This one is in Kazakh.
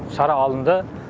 шара алынды